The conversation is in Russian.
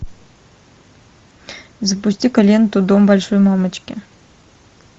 запусти ка ленту дом большой мамочки